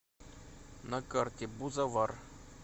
на карте бузовар